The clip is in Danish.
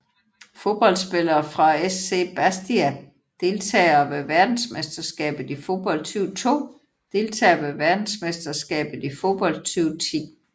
Fodboldspillere fra SC Bastia Deltagere ved verdensmesterskabet i fodbold 2002 Deltagere ved verdensmesterskabet i fodbold 2010